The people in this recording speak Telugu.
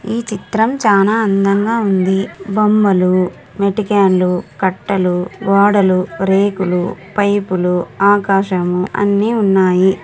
ఈ చిత్రం చానా అందంగా ఉంది. బొమ్మలు మేటికెన్లు కట్టలు ఓడలు రేకులు పైపులు ఆకాశం అన్ని ఉన్నాయి.